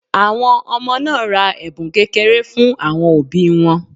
Àwọn ọmọ náà ra ẹ̀bùn kékeré fún àwọn òbí wọn